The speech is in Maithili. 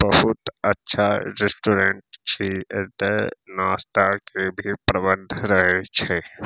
बहुत अच्छा रेस्टोरेंट छी एता नाश्ता के भी प्रबंध रहे छै।